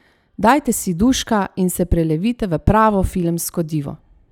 Dajte si duška in se prelevite v pravo filmsko divo!